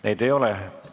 Neid ei ole.